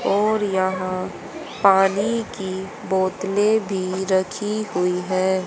और यहां पानी की बोतलें भी रखी हुई हैं।